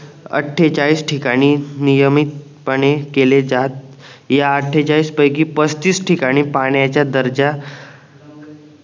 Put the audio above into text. अट्ठेचाळीस ठिकाणी नियमितपणे केले जात या अट्ठेचाळीस पैकी पस्तीस ठिकाणी पाण्याचे दर्जा